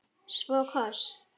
Svo koss.